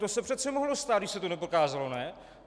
To se přece mohlo stát, když se to neprokázalo, ne?